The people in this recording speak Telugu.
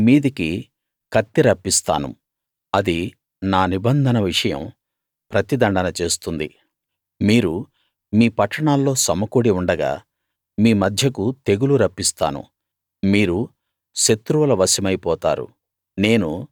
మీ మీదికి కత్తి రప్పిస్తాను అది నా నిబంధన విషయం ప్రతి దండన చేస్తుంది మీరు మీ పట్టణాల్లో సమకూడి ఉండగా మీ మధ్యకు తెగులు రప్పిస్తాను మీరు శత్రువుల వశమైపోతారు